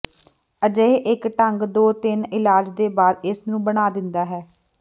ਅਜਿਹੇ ਇੱਕ ਢੰਗ ਦੋ ਤਿੰਨ ਇਲਾਜ ਦੇ ਬਾਅਦ ਇਸ ਨੂੰ ਬਣਾ ਦਿੰਦਾ ਹੈ